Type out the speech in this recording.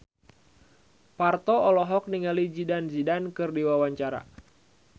Parto olohok ningali Zidane Zidane keur diwawancara